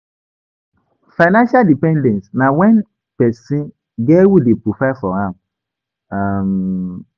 Financial dependence na when persin get who de provide for am um